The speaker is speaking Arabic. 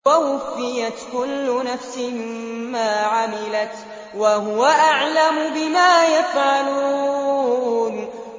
وَوُفِّيَتْ كُلُّ نَفْسٍ مَّا عَمِلَتْ وَهُوَ أَعْلَمُ بِمَا يَفْعَلُونَ